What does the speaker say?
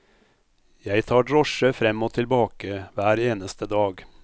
Jeg tar drosje frem og tilbake hver eneste dag.